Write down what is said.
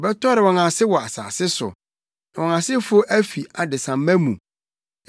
Wobɛtɔre wɔn ase wɔ asase so, na wɔn asefo afi adesamma mu.